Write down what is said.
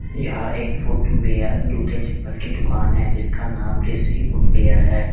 यहां एक फुटवियर जूते चप्पल की दुकान है जिसका नाम ऋषि फुटवियर है।